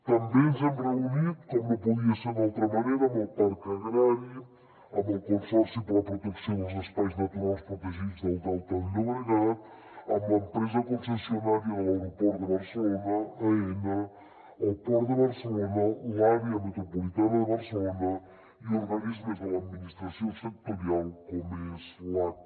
també ens hem reunit com no podia ser d’altra manera amb el parc agrari amb el consorci per a la protecció dels espais naturals protegits del delta del llobregat amb l’empresa concessionària de l’aeroport de barcelona aena el port de barcelona l’àrea metropolitana de barcelona i organismes de l’administració sectorial com és l’aca